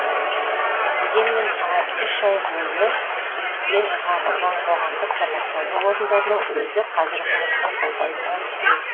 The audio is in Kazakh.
дегенмен үш ай бойы кірістен қағылған қоғамдық тамақтану орындарының өзі қазір үкіметтің қолдайына зәру